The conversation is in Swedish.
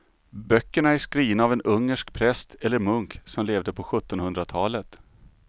Böckerna är skrivna av en ungersk präst eller munk som levde på sjuttonhundratalet.